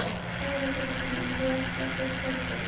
Þóra Kristín: En þú ert ekkert hræddur?